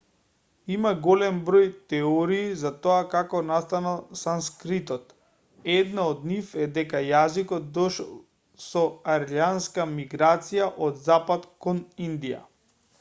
има голем број теории за тоа како настанал санскритот една од нив е дека јазикот дошол со арјанската миграција од запад кон индија